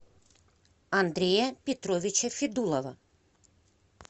андрея петровича федулова